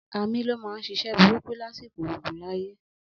Amí ló máa ń ṣiṣẹ́ burúkú lásìkò ogun láyé.